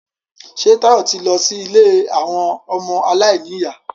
Ṣé Táyọ̀ ti lọ sí ilé àwọn ọmọ aláìníyà?